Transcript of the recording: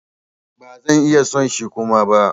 Ba zan iya son shi Kuma ba.